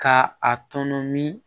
Ka a tɔnɔ min